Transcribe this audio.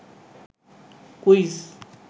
quiz